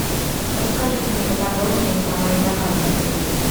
расскажи ка мне поподробнее про мои заказы в отеле